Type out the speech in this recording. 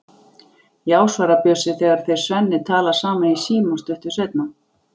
Já, svarar Bjössi þegar þeir Svenni tala saman í síma stuttu seinna.